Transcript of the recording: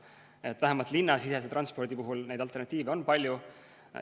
Nii et vähemalt linnasisese transpordi puhul neid alternatiive on palju.